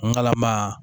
Ngalama